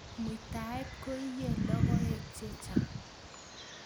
Muitaet koinyei logoech che chang